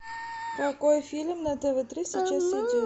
какой фильм на тв три сейчас идет